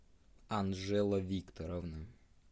анжела викторовна